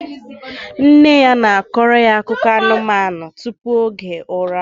Nne ya na-akọro ya akụkọ anụmanụ tupu oge ụra